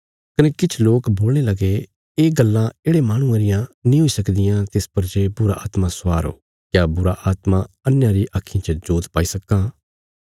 कने किछ लोक बोलणे लगे ये गल्लां येढ़े माहणुये रियां नीं हुई सकदियां तिस पर जे बुरीआत्मा स्वार हो क्या बुरीआत्मा अन्हेयां री आक्खीं च जोत पाई सक्कां इ